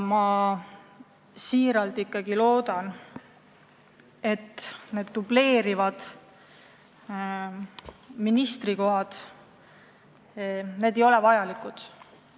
Ma väga loodan, et leitakse, et need dubleerivad ministrikohad ei ole vajalikud.